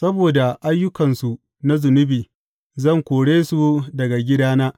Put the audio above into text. Saboda ayyukansu na zunubi, zan kore su daga gidana.